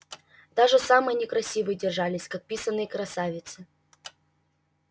даже самые некрасивые держались как писаные красавицы